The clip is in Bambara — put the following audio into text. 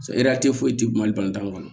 eretari foyi tɛ mali kɔnɔ